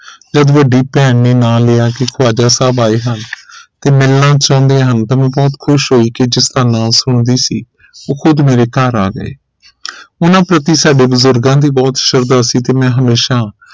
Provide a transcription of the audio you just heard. ਤੇ ਵੱਡੀ ਭੈਣ ਨੇ ਨਾਂ ਲਿਆ ਕਿ ਖੁਵਾਜ਼ਾ ਸਾਹਿਬ ਆਏ ਹਨ ਤੇ ਮਿਲਣਾ ਚਾਹੁੰਦੇ ਹਨ ਤੇ ਮਿਲਣਾ ਚਾਹੁੰਦੇ ਹਨ ਤਾ ਮੈਂ ਬਹੁਤ ਖੁਸ਼ ਹੋਈ ਕਿ ਜਿਸਦਾ ਨਾਂ ਸੁਣਦੀ ਸੀ ਉਹ ਖੁਦ ਮੇਰੇ ਘਰ ਆ ਗਏ ਉਹਨਾਂ ਪ੍ਰਤੀ ਸਾਡੇ ਬੁਜ਼ੁਰਗਾਂ ਦੀ ਬਹੁਤ ਸ਼ਰਧਾ ਸੀ ਤੇ ਮੈਂ ਹਮੇਸ਼ਾ